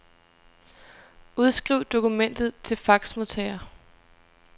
Udskriv dokumentet til faxmodtager.